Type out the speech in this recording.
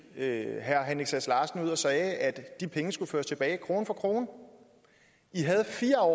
herre henrik sass larsen ud og sagde at de penge skulle føres tilbage krone for krone i havde fire år